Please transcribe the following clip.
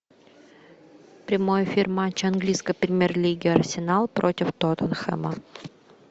прямой эфир матча английской премьер лиги арсенал против тоттенхэма